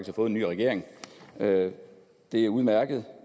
har fået nye regering det det er udmærket